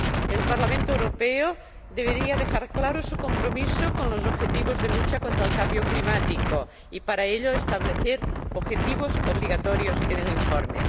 El Parlamento Europeo debería dejar claro su compromiso con los objetivos de lucha contra el cambio climático y, para ello, establecer objetivos obligatorios en el informe.